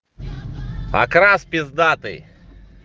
окрас пиздатый